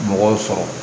Mɔgɔw sɔrɔ